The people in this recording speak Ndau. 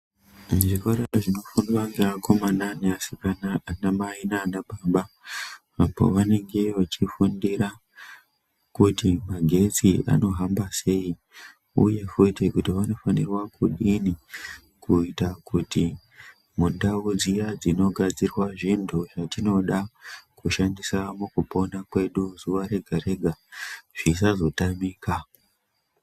Zvikora zvinofundwa neakomana neasikana, anamai nana baba makore avanenge vechifundira kuti magetsi anohamba sei uye futi kuti vanofanirwa kudini mundau dziya dzinogadzirwa zvintu zvatinoda kushandisa mukupona kwedu zuwa ngezuwa zvisazotamika.